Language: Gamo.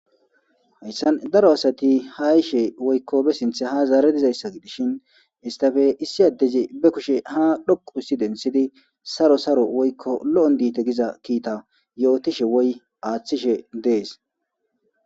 Hayssan daro asati haishe woykko be sinthe ha zaare dizayssa gidishin istafe issi addeze be kushe ha dhoqu ussi densidi saro saro woykko lo7on diite giza kiita yootishe woy aaththishe dees.